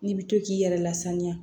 N'i bɛ to k'i yɛrɛ lasaniya